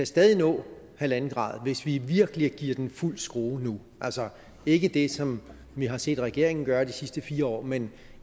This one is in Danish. stadig kan nå halvanden grad hvis vi virkelig giver den fuld skrue nu altså ikke det som vi har set regeringen gøre de sidste fire år men